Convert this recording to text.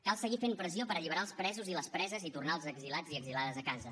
cal seguir fent pressió per alliberar els presos i les preses i tornar els exiliats i exiliades a casa